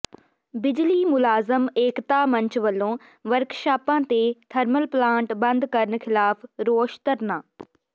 ਬਿਜਲੀ ਮੁਲਾਜ਼ਮ ਏਕਤਾ ਮੰਚ ਵਲੋਂ ਵਰਕਸ਼ਾਪਾਂ ਤੇ ਥਰਮਲ ਪਲਾਂਟ ਬੰਦ ਕਰਨ ਿਖ਼ਲਾਫ਼ ਰੋਸ ਧਰਨਾ